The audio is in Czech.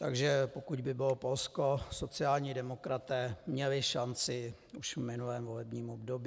Takže pokud by bylo Polsko, sociální demokraté měli šanci už v minulém volebním období.